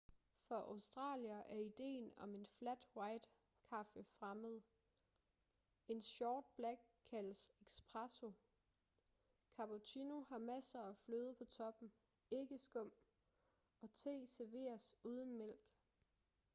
for australiere er ideen om en flat white kaffe fremmed. en short black” kaldes espresso cappuccino har masser af fløde på toppen ikke skum og te serveres uden mælk